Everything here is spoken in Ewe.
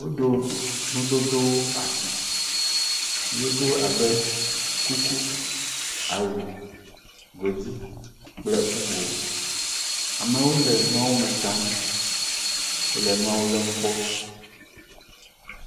Woɖo nudodowo asi, nudodowo abe kuku, awu godui kple bubuwo, amewo le nuawo me tsam le nuawo lém kpɔ.